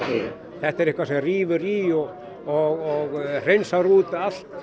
þetta er eitthvað sem rífur í og hreinsar út allt